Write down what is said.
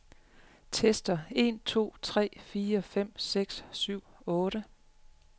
Tester en to tre fire fem seks syv otte.